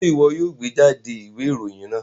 Ṣe iwọ yoo gbejade iwe iroyin naa